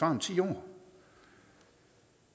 om ti år